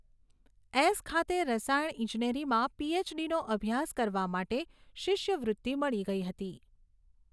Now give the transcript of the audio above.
S ખાતે રસાયણ ઇજનેરીમાં પીએચડીનો અભ્યાસ કરવા માટે શિષ્યવૃત્તિ મળી ગઈ હતી.